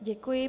Děkuji.